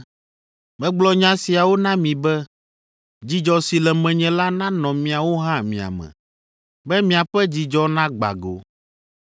Megblɔ nya siawo na mi be dzidzɔ si le menye la nanɔ miawo hã mia me, be miaƒe dzidzɔ nagbã go.